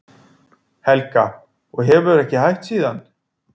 Helga: Og þú hefur ekki hætt síðan?